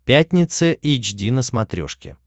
пятница эйч ди на смотрешке